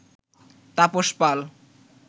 Tapas Pal